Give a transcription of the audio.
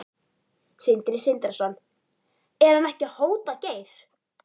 Sindri Sindrason: Er hann ekki að hóta Geir?